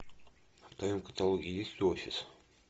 в твоем каталоге есть офис